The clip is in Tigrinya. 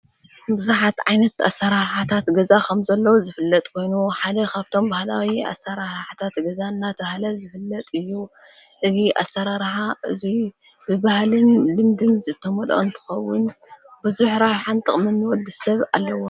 ብዙኃት ዓይነት ኣሠራሓታት ገዛ ኸም ዘለዉ ዝፍለጥ ኮይኑ ሓደ ኻብቶም ባህላዊ ኣሠራሓታት ገዛ እናተብሃለ ዘፍለጥ እዩ እዙይ ኣሠራርሓ እዙይ ብባሃልን ድምድም ዘተመልኦ እንትኸዉን ብዙኅ ኣሰራርሓን ጥቕምን ወዲ ሰብ ኣለዎ።